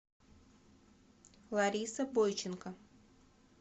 лариса бойченко